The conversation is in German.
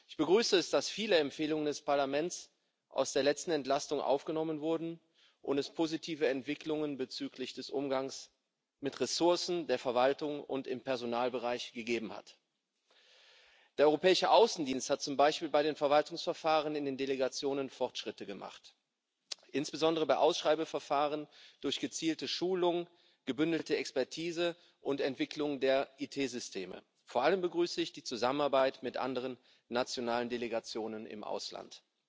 Ich begrüße, dass viele Empfehlungen des Parlaments aus der letzten Entlastung aufgenommen wurden und dass es positive Entwicklungen bezüglich des Umgangs mit Ressourcen der Verwaltung und im Personalbereich gegeben hat. Der Europäische Auswärtige Dienst hat zum Beispiel bei den Verwaltungsverfahren in den Delegationen Fortschritte gemacht, insbesondere bei Ausschreibungsverfahren durch gezielte Schulung, gebündelte Expertise und Entwicklung der IT Systeme. Vor allem begrüße ich die Zusammenarbeit mit anderen nationalen Delegationen im Ausland.